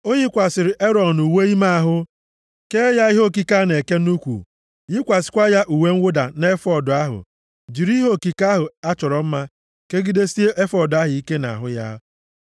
O yikwasịrị Erọn uwe ime ahụ, kee ya ihe okike a na-eke nʼukwu, yikwasịkwa ya uwe mwụda na efọọd ahụ, jiri ihe okike ahụ a chọrọ mma kegidesie efọọd ahụ ike nʼahụ ya.